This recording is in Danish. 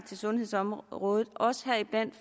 til sundhedsområdet